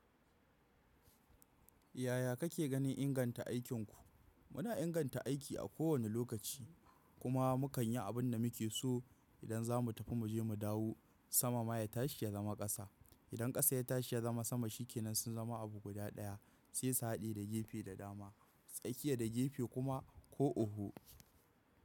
Yaya kake ganin inganta aikinku? Muna inganta aiki a kowane lokaci kuma mu kan yi abin da muke so. Idan za mu tafi mu je mu dawo sama ma ya tashi ya zama ƙasa. Idan ƙasa ya tashi ya zama sama shi ke nan sun zama abu guda ɗaya, sai su hade da gefe da dama. Tsakiya da gefe kuma ko oho.